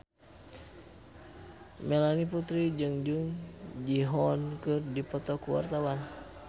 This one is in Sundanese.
Melanie Putri jeung Jung Ji Hoon keur dipoto ku wartawan